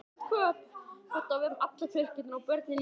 Þetta á við um alla fjölskylduna- börnin líka.